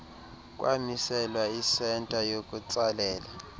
kwamiselwa isenta yokutsalela